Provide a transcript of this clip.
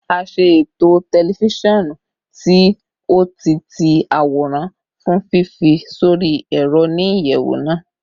A ṣe eto tẹlifisiọnu ti o-ti-ti-aworan fun fifi sori ẹrọ ni iyẹwu naa